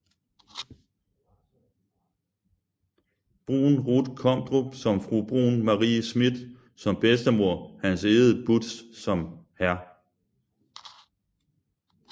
Bruun Ruth Komdrup som Fru Bruun Marie Schmidt som Bedstemor Hans Egede Budtz som Hr